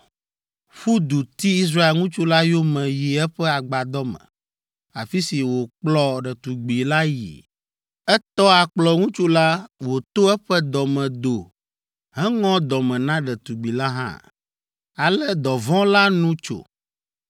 ƒu du ti Israel ŋutsu la yome yi eƒe agbadɔ me, afi si wòkplɔ ɖetugbi la yii. Etɔ akplɔ ŋutsu la wòto eƒe dɔ me do heŋɔ dɔme na ɖetugbi la hã. Ale dɔvɔ̃ la nu tso